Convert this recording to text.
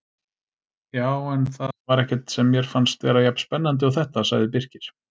Já, en það var ekkert sem mér fannst vera jafn spennandi og þetta sagði Birkir.